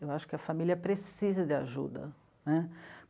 Eu acho que a família precisa de ajuda, né?